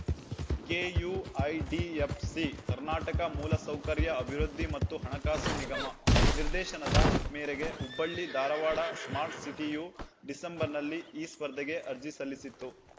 KUIDFC Karnataka ಮೂಲಸೌಕರ್ಯ ಅಭಿವೃದ್ಧಿ ಮತ್ತು ಹಣಕಾಸು ನಿಗಮ ನಿರ್ದೇಶನದ ಮೇರೆಗೆ ಹುಬ್ಬಳ್ಳಿ ಧಾರವಾಡ ಸ್ಮಾರ್ಟ್‌ ಸಿಟಿಯು ಡಿಸೆಂಬರ್‌ನಲ್ಲಿ ಈ ಸ್ಪರ್ಧೆಗೆ ಅರ್ಜಿ ಸಲ್ಲಿಸಿತ್ತು